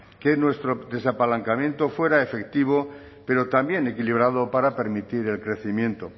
que nuestro desapalancamiento fuera efectivo pero también equilibrado para permitir el crecimiento